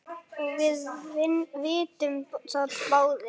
og við vitum það báðir.